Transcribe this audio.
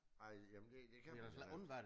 Ej jamen det det kan man da ikke